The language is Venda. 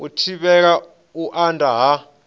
u thivhela u anda ha